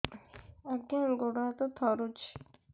ଆଜ୍ଞା ଗୋଡ଼ ହାତ ଥରୁଛି